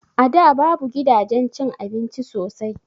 A da babu gidajen cin abinci sosai